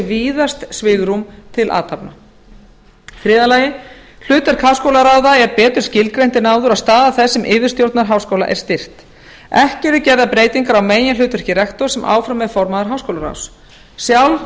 víðast svigrúm til athafna þriðja hlutverk háskólaráða er betur skilgreint en áður og staða þess sem yfirstjórnar háskóla er styrkt ekki eru gerðar breytingar á meginhlutverki rektors sem áfram er formaður háskólaráðs sjálf